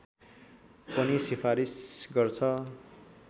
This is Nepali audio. पनि सिफारिस गर्छ